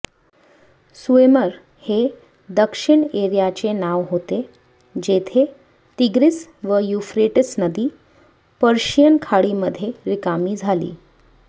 Sumer हे दक्षिण एरियाचे नाव होते जेथे तिग्रीस व युफ्रेटिस नदी पर्शियन खाडीमध्ये रिकामी झाली